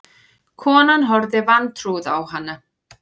Konan horfði vantrúuð á hana.